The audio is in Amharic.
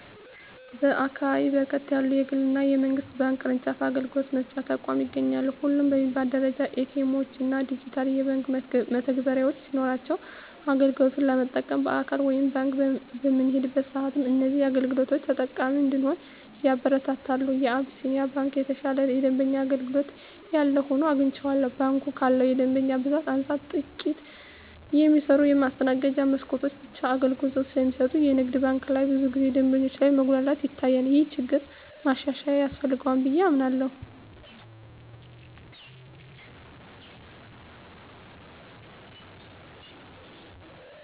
በአካባቢየ በርከት ያሉ የግል እና የመንግስት ባንክ ቅርጫፍ አገልግሎት መስጫ ተቋማት ይገኛሉ። ሁሉም በሚባል ደረጃ ኤ.ቲ. ኤምዎች እና ዲጂታል የባንክ መተግበሪያዎች ሲኖሯቸው አገልግሎት ለመጠቀም በአካል ወደ ባንክ በምንሄድበት ሰአትም እዚህን አገልግሎቶች ተጠቃሚ እንድንሆን ያበረታታሉ። የአቢስንያ ባንክ የተሻለ የደንበኛ አገልግሎት ያለው ሆኖ አግኝቸዋለሁ። ባንኩ ካለው የደንበኛ ብዛት አንፃር ጥቂት የሚሰሩ የማስተናገጃ መስኮቶች ብቻ አገልግሎት ስለሚሰጡ የንግድ ባንክ ላይ ብዙ ጊዜ ደንበኞች ላይ መጉላላት ይታያል። ይህ ችግር ማሻሻያ ያስፈልገዋል ብየ አምናለሁ።